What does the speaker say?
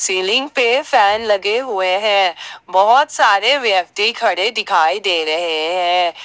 Ceiling पे fan लगे हुए हैं बहोत सारे व्यक्ति खड़े दिखाई दे रहे हैं।